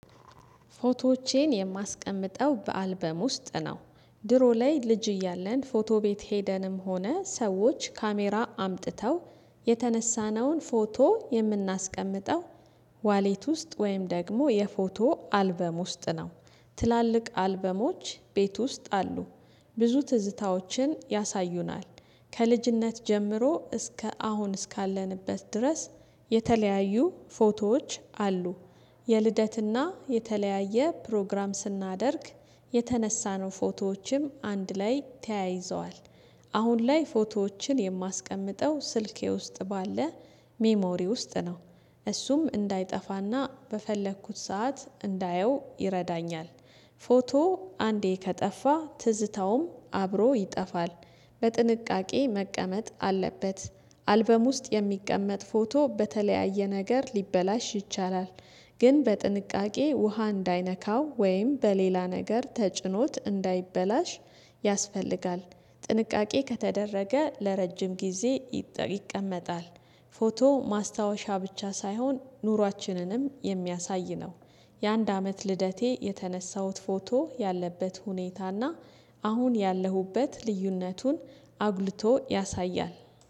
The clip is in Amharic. ፎቶዎቼን የማስቀምጠው በአልበም ውስጥ ነው። ድሮ ላይ ልጅ እያለን ፎቶ ቤት ሄደንም ሆነ ሰዎች ካሜራ አምጥተው የተነሳነውን ፎቶ የምናስቀምጠው። ዋሌት ውስጥ ወይም ደግሞ የፎቶ አልበም ውስጥ ነው። ትላልቅ አልበሞች ቤት ውስጥ አሉ። ብዙ ትዝታዎችን ያሳዩናል። ከልጅነት ጀምሮ እስከ አሁን እስካለንበት ድረስ የተለያዩ ፎቶዎች አሉ። የልደትና የተለያየ ፕሮግራም ስናደርግ የተነሳነው ፎቶዎችም አንድ ላይ ተያይዘዋል። አሁን ላይ ፎቶዎችን የማስቀምጠው ስልኬ ውስጥ ባለ ሜሞሪ ውስጥ ነው። እሱም እንዳይጠፋና በፈለኩት ሰዓት እንዳየው ይረዳኛል። ፎቶ አንዴ ከጠፋ ትዝታውም አብሮ ይጠፋል። በጥንቃቄ መቀመጥ አለበት። አልበም ውስጥ የሚቀመጥ ፎቶ በተለያየ ነገር ሊበላሽ ይቻላል። ግን በጥንቃቄ ውሃ እንዳይነካው ወይም በሌላ ነገር ተጭኖት እንዳይበላሽ ያስፈልጋል። ጥንቃቄ ከተደረገ ለረጅም ጊዜ ይቀመጣል። ፎቶ ማስታወሻ ብቻ ሳይሆን ኑሯችንንም የሚያሳይ ነው። የአንድ አመት ልደቴ የተነሳሁት ፎቶ ያለበት ሁኔታና አሁን ያለሁበት ልዩነቱን አጉልቶ ያሳያል